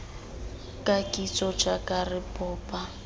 ka kitso jaaka re bopa